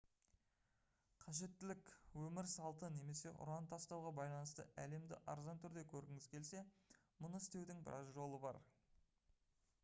қажеттілік өмір салты немесе ұран тастауға байланысты әлемді арзан түрде көргіңіз келсе мұны істеудің біраз жолы бар